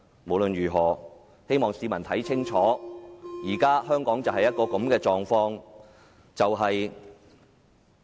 不論怎樣，我希望市民看清楚香港現時的情況。